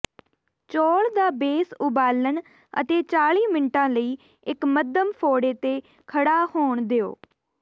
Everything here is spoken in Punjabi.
ਚੌਲ ਦਾ ਬੇਸ ਉਬਾਲਣ ਅਤੇ ਚਾਲੀ ਮਿੰਟਾਂ ਲਈ ਇੱਕ ਮੱਧਮ ਫ਼ੋੜੇ ਤੇ ਖੜ੍ਹਾ ਹੋਣ ਦਿਉ